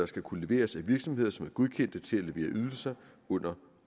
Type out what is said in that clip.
skal kunne leveres af virksomheder som er godkendte til at levere ydelser under